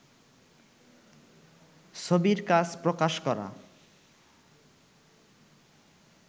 ছবির কাজ প্রকাশ করা